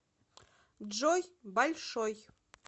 джой большой